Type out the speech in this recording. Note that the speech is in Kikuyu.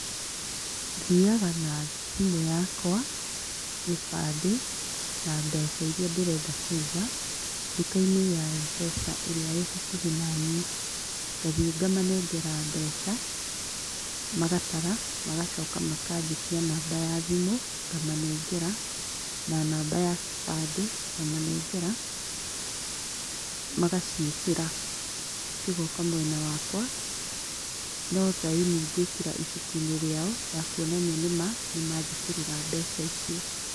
Thiaga na thimũ yakwa, gĩbandĩ na mbeca iria ndĩrenda kũiga ndukainĩ ya M-pesa ĩrĩa ĩ hakuhĩ naniĩ. Ngathiĩ ngamanengera mbeca, magatara magacoka makanjĩtia namba ya thimũ ngamanengera na namba ya kĩbandĩ ngamanengera magaciĩkĩra cigoka mwena wakwa, no thaĩni ngwĩkĩra ibuku-inĩ rĩao ya kuonania nĩma nĩmanjĩkĩrĩra mbeca icio.